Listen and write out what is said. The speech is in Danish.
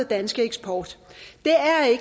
danske eksport